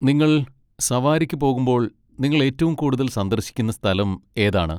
നിങ്ങൾ സവാരിക്ക് പോകുമ്പോൾ നിങ്ങൾ ഏറ്റവും കൂടുതൽ സന്ദർശിക്കുന്ന സ്ഥലം ഏതാണ്?